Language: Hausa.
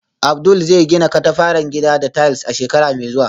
Abdul zai gina katafaren gida da tiles a shekara mai zuwa.